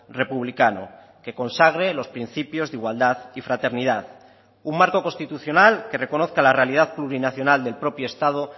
republicano que consagre los principios de igualdad y fraternidad un marco constitucional que reconozca la realidad plurinacional del propio estado